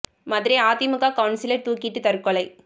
Madurai AIADMK councillor தூக்கிட்டு தற்கொலை